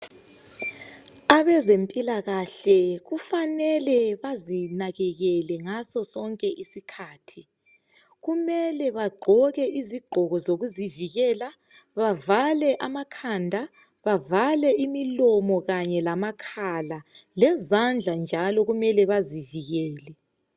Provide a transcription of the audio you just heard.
Abezimpilakahle kufanele bazinakekele kakhulu ngasosonke isikhathi kumele bagqoke izigqoko zokuvikela bavale amakhanda, imilomo kanye lamakhala lezandla njalo kumele bazivikele.